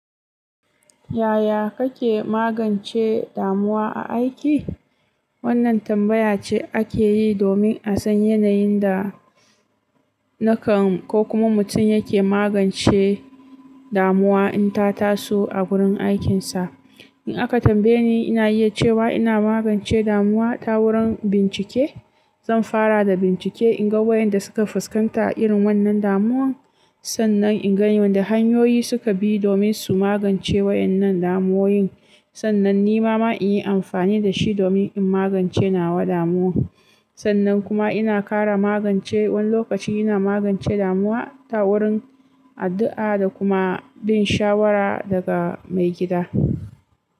Yaya kake magance damuwa a aiki? Wannan tambaya ce ake yi domin a san yanayin da nakan ko kuma mutum yake magance damuwa in ta taso a gurin aikinsa. In aka tambaye ni, ina iya cewa ina magance damuwa ta wurin bincike. Zan fara da bincike in ga wayanda suka fuskanta da irin wannan damuwan, sannan in gani wanda hanyoyi suka bi domin su magance waɗannan damuwoyin. Sannan ni ma ma in yi amfani da shi domin in magance nawa damuwan. Sannan kuma ina ƙara magance wani lokaci ina magance damuwa ta wurin addu'a da kuma bin shawara daga maigida.